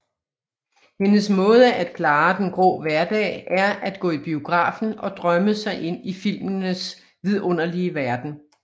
Hendes måde at klare den grå hverdag er at gå i biografen og drømme sig ind i filmenes vidunderlige verden